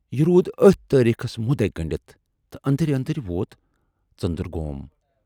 یہِ روٗد ٲتھۍ تٲریٖخس مُدعے گٔنڈِتھ تہٕ ٲندرۍ ٲندرۍ ووت ژٔندر گوم۔